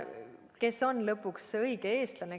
Kes on lõpuks see õige eestlane?